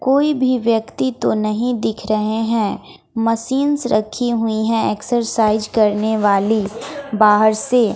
कोई भी व्यक्ति तो नहीं दिख रहे हैं। मशींस रखी हुई है एक्सरसाइज करने वाली बाहर से--